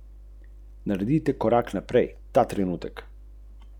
Kaj pravite na nežnost, milino, sočutje, toplino, skrb?